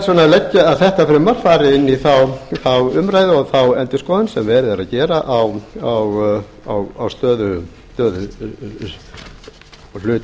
vegna að þetta frumvarp fari inn í þá umræðu og þá endurskoðun sem verið er að gera á stöðu og hlut